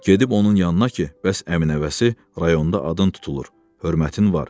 Gedib onun yanına ki, bəs əmi nəvəsi rayonda adın tutulur, hörmətin var.